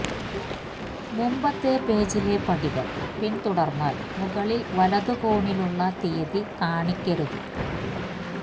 മുമ്പത്തെ പേജിലെ പടികൾ പിന്തുടർന്നാൽ മുകളിൽ വലത് കോണിലുള്ള തീയതി കാണിക്കരുത്